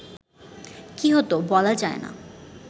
কি হত বলা যায় না